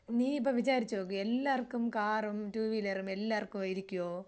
നീ ഇപ്പോ വിചാരിച്ചോക്ക് എല്ലാവർക്കും കാറും ടൂവീലറും എല്ലാവർക്കും ഇരിക്കോ?